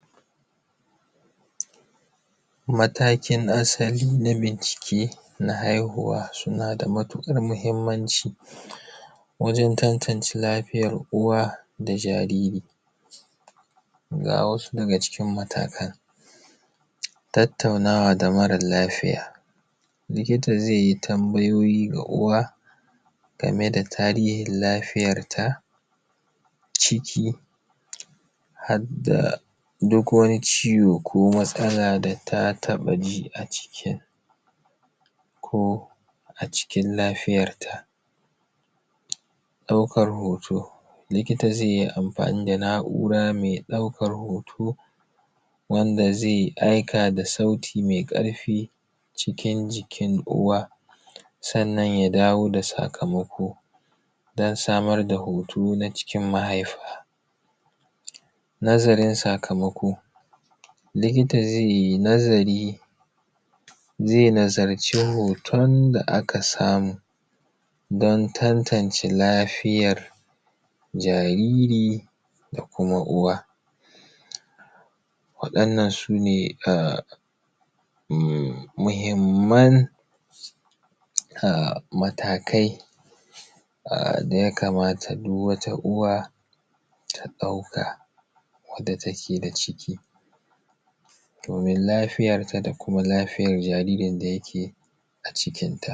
matakin asali na bincike na haihuwa suna da matuƙar muhimmanci wajen tantance lafiyar uwa da jariri ga wasu daga cikin matakan tattaunawa da mara lafiya likita zai yi tambayoyi ga uwa game da tarihin lafiyar ta ciki har da duk wani ciwo ko matsala da ta taɓa ji a cikin ko a cikin lafiyar ta ɗaukan hoto likita zai yi amfani da na’ura mai ɗaukan hoto wanda zai aika da sauti mai ƙarfi cikin jikin uwa sannan ya dawo da sakamako don samar da hoto na cikin mahaifa nazarin sakamako likita zai yi nazari zai nazarci hoton da aka samu don tantance lafiyar jariri da kuma uwa waɗannan su ne muhimman matakai da ya kamata duk wata uwa ta ɗauka wanda take da ciki domin lafiyar ta da kuma lafiyar jariri da yake a cikin ta